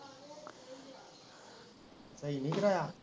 ਸਹੀ ਨਹੀਂ ਕਰਾਇਆ